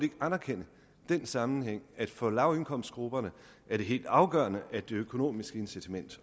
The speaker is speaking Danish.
ikke anerkende den sammenhæng at for lavindkomstgrupperne er det helt afgørende at det økonomiske incitament